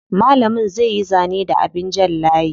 Malamin zai yi zane da abin jan layi.